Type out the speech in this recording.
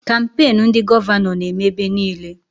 Kampain ndị gọvanọ na-eme ebe niile